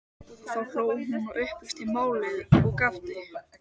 Þá hló hún og upplýsti málið, ég gapti.